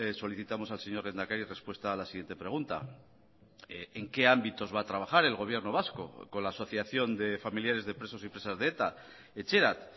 solicitamos al señor lehendakari respuesta a la siguiente pregunta en qué ámbitos va a trabajar el gobierno vasco con la asociación de familiares de presos y presas de eta etxerat